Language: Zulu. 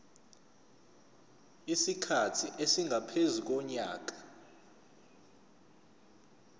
isikhathi esingaphezu konyaka